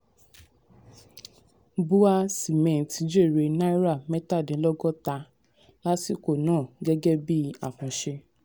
um bua cement jèrè náírà mẹ́tàdínlọ́gọ́ta lásìkò náà gẹ́gẹ́ bíi akànṣe.